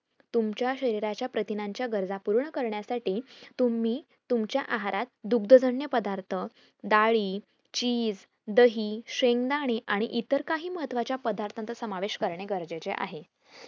तुमच्या शरीराच्या प्रथिनांच्या गरज पूर्ण करण्यासाठी तुम्ही तुमच्या आहारात दुगद्जग्न पदार्थ, डाळी, cheese दही, शेंगदाणे आणि इतर काही महत्वाचा पदार्थांचा समावेश करणे गरजेचे आहे